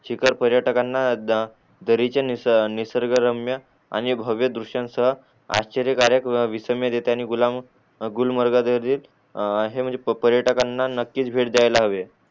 शिखर पर्यटकांना दरीचा निस निसर्ग रम्य आणि भव्य द्रुश्य आश्चर्य कारक व विषमय रित्यांनी गुलाम गुलमर्ग हे म्हणजे पर्यटकांना नक्की नक्कीच भेट द्यायला हवे